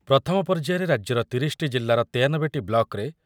ପ୍ରଥମ ପର୍ଯ୍ୟାୟରେ ରାଜ୍ୟର ତିରିଶିଟି ଜିଲ୍ଲାର ୯୩ଟି ବ୍ଲକ୍‌ରେ